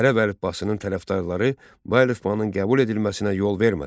Ərəb əlifbasının tərəfdarları bu əlifbanın qəbul edilməsinə yol vermədilər.